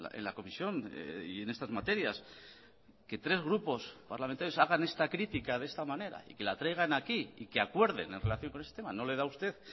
en la comisión y en estas materias que tres grupos parlamentarios hagan esta crítica de esta manera y que la traigan aquí y que acuerden en relación con el sistema no le da a usted